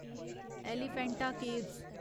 Elephanta caves